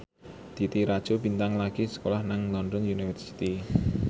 Titi Rajo Bintang lagi sekolah nang London University